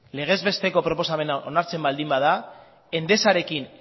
legezbesteko proposamen hau onartzen baldin bada endesarekin